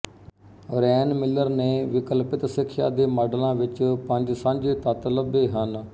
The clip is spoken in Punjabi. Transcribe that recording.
ਰੈਨ ਮਿਲਰ ਨੇ ਵਿਕਲਪਿਤ ਸਿੱਖਿਆ ਦੇ ਮਾਡਲਾਂ ਵਿੱਚ ਪੰਜ ਸਾਂਝੇ ਤੱਤ ਲੱਭੇ ਹਨ